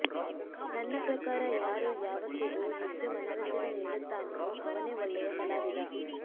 ನನ್ನ ಪ್ರಕಾರ ಯಾರು ಯಾವತ್ತಿಗೂ ಹೆಚ್ಚು ಮನರಂಜನೆ ನೀಡುತ್ತಾನೆಯೋ ಅವನೇ ಒಳ್ಳೆಯ ಕಲಾವಿದ